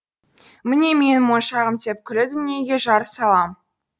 міне менің моншағым деп күллі дүниеге жар салам